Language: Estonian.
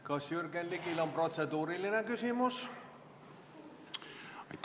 Kas Jürgen Ligil on protseduuriline küsimus?